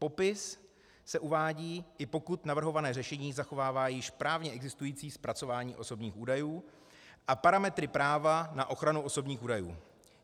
Popis se uvádí, i pokud navrhované řešení zachovává již právně existující zpracování osobních údajů a parametry práva na ochranu osobních údajů.